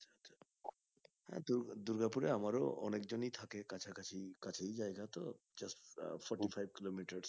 আহ দূর্গা দুর্গাপুরে আমারও অনেকজনই থাকে কাছা কছি কাছেই জায়গা তো just forty-five kilometre